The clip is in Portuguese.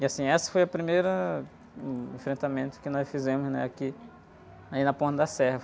E, assim, esse foi o primeiro enfrentamento que nós fizemos, né? Aqui, aí na ponta da serra.